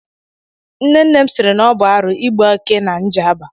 Nne nne m sịrị na ọ bụ arụ igbu eke na Njaba.